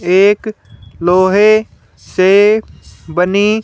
एक लोहे से बनी--